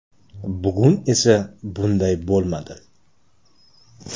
Bugun esa bunday bo‘lmadi.